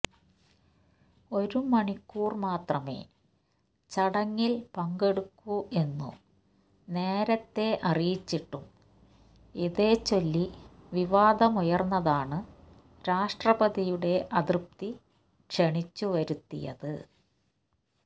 ഒരു മണിക്കൂർ മാത്രമേ ചടങ്ങിൽ പങ്കെടുക്കൂ എന്നു നേരത്തെ അറിയിച്ചിട്ടും ഇതേച്ചൊല്ലി വിവാദമുയർന്നതാണ് രാഷ്ട്രപതിയുടെ അതൃപ്തി ക്ഷണിച്ചുവരുത്തിയത്